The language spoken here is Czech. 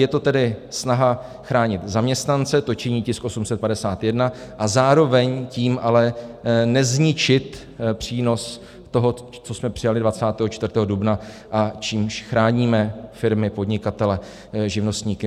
Je to tedy snaha chránit zaměstnance, to činí tisk 851, a zároveň tím ale nezničit přínos toho, co jsme přijali 24. dubna, čímž chráníme firmy, podnikatele, živnostníky.